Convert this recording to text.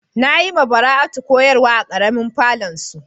Na yi ma Bara'atu koyarswa a karemin falon su.